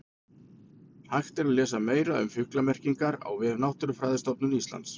Hægt er að lesa meira um fuglamerkingar á vef Náttúrufræðistofnunar Íslands.